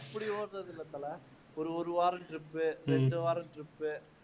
அப்படி ஒடறதில்லை தல ஒரு ஒரு வாரம் trip இரண்டு வாரம் trip